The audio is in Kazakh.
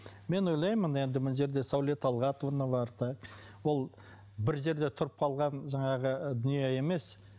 мен ойлаймын енді мына жерде сәуле талғатовна бар так ол бір жерде тұрып қалған жаңағы дүние емес